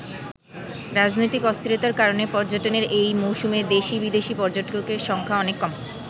রাজনৈতিক অস্থিরতার কারণে পর্যটনের এই মৌসুমে দেশী-বিদেশী পর্যটকের সংখ্যা অনেক কম।